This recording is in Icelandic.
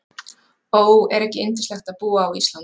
Ó, er ekki yndislegt að búa á Íslandi?